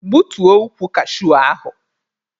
Gbutuo ukwu kashuu ahụ!